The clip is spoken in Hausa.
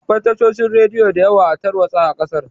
Akwai tashoshin radiyo diyawa a tarwatsa a ƙasar